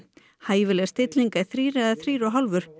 hæfileg stilling er þrír eða þrír og hálfur